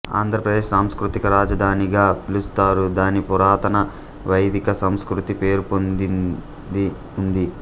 ఆంధ్ర ప్రదేశ్ సాంస్కృతిక రాజధానిగా పిలుస్తారు దాని పురాతన వైదిక సంస్కృతి పేరుపొందింది ఉంది